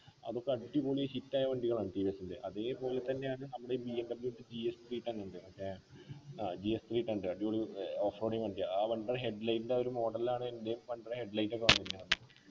അതൊക്കെ അടിപൊളി hit ആയ വണ്ടികളാണ് ടി വി എസ്ൻ്റെ അതേപോലെതന്നെയാണ് നമ്മുടെ ഈ B M W gs three ten ഉണ്ട് മറ്റേ ആഹ് gs three ten അടിപൊളി ഏർ off road വണ്ടി ആ വണ്ടിടെ head light ൻ്റെ എ ഒരു model ലാണ് എൻ്റെയും വണ്ടിടെ head light ഒക്കെ